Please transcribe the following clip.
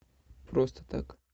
просто так